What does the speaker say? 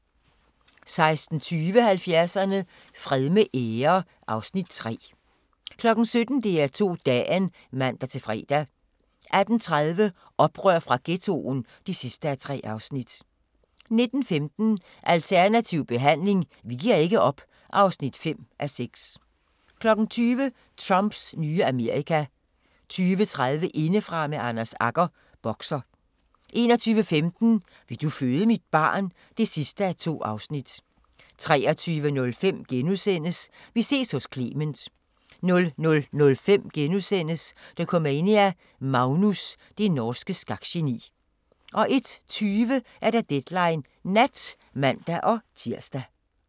16:20: 70'erne: Fred med ære (Afs. 3) 17:00: DR2 Dagen (man-fre) 18:30: Oprør fra Ghettoen (3:3) 19:15: Alternativ behandling – vi giver ikke op (5:6) 20:00: Trumps nye Amerika 20:30: Indefra med Anders Agger – Bokser 21:15: Vil du føde mit barn? (2:2) 23:05: Vi ses hos Clement * 00:05: Dokumania: Magnus – det norske skakgeni * 01:20: Deadline Nat (man-tir)